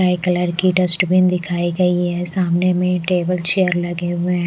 नए कलर की डस्टबिन दिखाई गई है सामने में टेबल चेयर लगे हुए हैं।